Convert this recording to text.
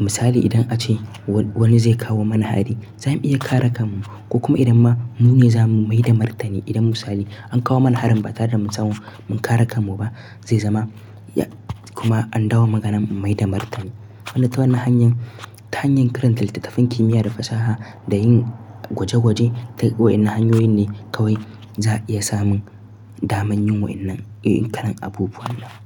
Misali idan ace wani zai kawo mana hari za mu iya kare kan mu. Ko kuma idan ma mu ne za mu mai da martani idan misali an kawo mana harin ba tare da mun samu mun kare kan mu ba zai zama kuma an dawo maganan mai da martani. Wanda ta wannan hanyar, ta hanyar karanta littattafan kimiyya da fasaha da yin gwaje gwaje duk wa'innan hanyoyin ne kawai za a iya samun daman yin wa'innan, kalan abubuwan.